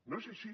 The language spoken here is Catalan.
no és així